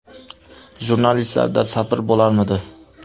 Jurnalistlarda sabr bo‘larmidi?